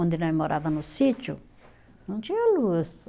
Onde nós morava no sítio, não tinha luz.